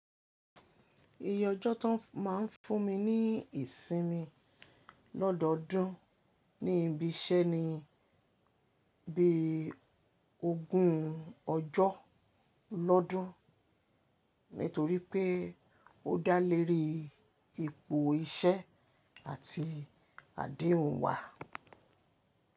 Iye ọjọ́ tí wọn máa ń fún mi ní ìsinmi lọ́dọọdún ní ibi iṣẹ́ ni bí ogún ọjọ́ lọ́dún, nítorí pé ó dá lérí ipò iṣẹ́ àti adéhùn wa.